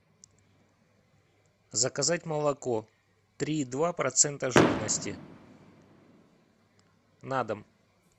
заказать молоко три и два процента жирности на дом